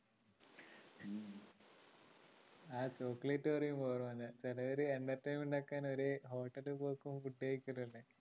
ആ chocolate പറയുമ്പോളാ ഓർമ്മ വരുന്നേ ചെലവര് entertainment ആക്കാൻ ഒരു hotel ലിപ്പോക്കും food കഴിക്കും അല്ലേ